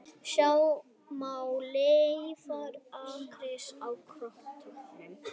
Sjá má leifar akkerismerkis á korktöppunum